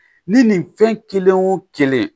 Ni nin fɛn kelen wo kelen